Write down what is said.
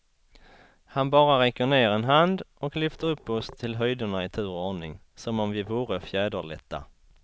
Han bara räcker ner en hand och lyfter upp oss till höjderna i tur och ordning, som om vi vore fjäderlätta.